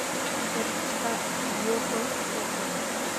jatich ka lwoko choche go